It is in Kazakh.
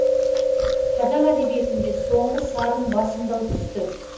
қазақ әдебиетінде соңғы сарын басымдау түсті